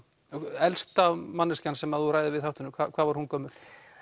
elsta manneskjan sem þú ræðir við í þáttunum hvað var hún gömul